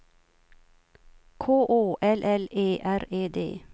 K Å L L E R E D